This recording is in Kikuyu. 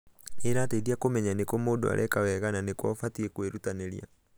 nĩĩrateithia kũmenya nĩkũ mũndũ areka wega na nĩkũ ũbatie kwĩrutanĩria.